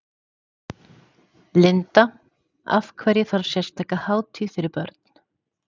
Linda: Af hverju þarf sérstaka hátíð fyrir börn?